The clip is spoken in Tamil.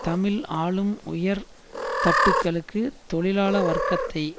தமிழ் ஆளும் உயர் தட்டுகளுக்கு தொழிலாள வர்க்கத்தை